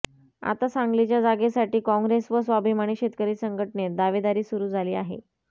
आता सांगलीच्या जागेसाठी कॉँग्रेस व स्वाभिमानी शेतकरी संघटनेत दावेदारी सुरू झाली आहे